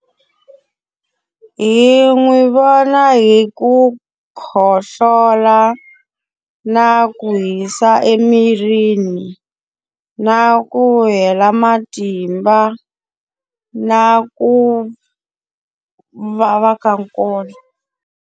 Hi n'wi vona hi ku khohlola, na ku hisa emirini, na ku hela matimba, na ku vava ka nkolo.